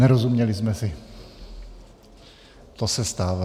Nerozuměli jsme si, to se stává.